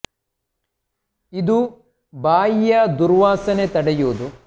ಇದು ಬಾಯಿಯ ದುರ್ವಾಸನೆ ತಡೆಯುವುದು ಮತ್ತು ಬ್ಯಾಕ್ಟೀರಿಯಾ ಸೋಂಕಿನ ವಿರುದ್ಧ ಹೋರಾಡಲು ನೆರವಾಗುವುದು